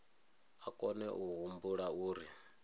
a kone a humbula uri